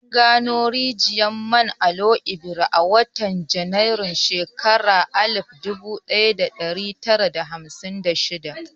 An gano rijiyar man Oloibiri a watan Janairun shekarar alif dubu ɗaya da ɗari tara da hamsin da shida.